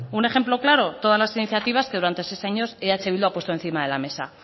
un ejemplo claro todas las iniciativas que durante seis años eh bildu ha puesto encima de la mesa